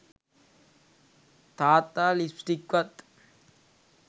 තාත්තා ලිප්ස්ටික්වත්